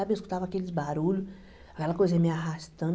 sabe? Eu escutava aqueles barulhos, aquela coisa me arrastando.